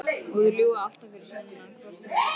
Og þeir ljúga alltaf fyrir sunnan hvort sem er.